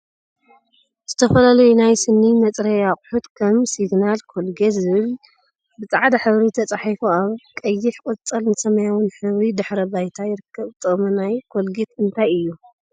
ዝተፈላለዩ ናይ ስኒ መፅረይ አቁሑት ከምኒ ሲግናል፣ ኮልጌት ዝብል ብፃዕዳ ሕብሪ ተፃሒፉ አብ ቀይሕ፣ ቆፃልን ሰማያዊን ሕብሪ ድሕረ ባይታ ይርከብ፡፡ ጥቅሚ ናይ ኮልጌት እንታይ እዩ?